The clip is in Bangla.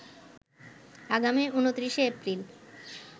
আগামী ২৯শে এপ্রিল